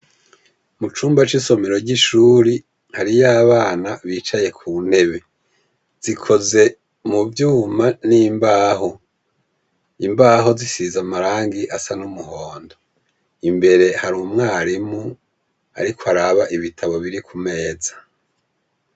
Mucumba cisomero yishure hariho abana bicaye kuntebe zikoze muvyuma nimbaho imbaho zisize amarangi asa numuhondo imbere harumwarimu ariko araba ibitabo biri kumeza